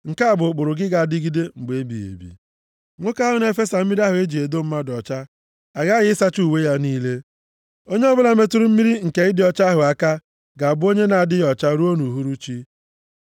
Nke a bụ ụkpụrụ ga-adịgide mgbe ebighị ebi. “Nwoke ahụ na-efesa mmiri ahụ e ji edo mmadụ ọcha, aghaghị ịsacha uwe ya niile. Onye ọbụla metụrụ mmiri nke ịdị ọcha ahụ aka, ga-abụ onye na-adịghị ọcha ruo nʼuhuruchi.